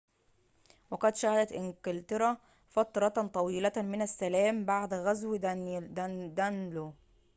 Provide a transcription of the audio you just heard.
وقد شهدت انكلترا فترةً طويلةً من السّلام بعد غزو دانلو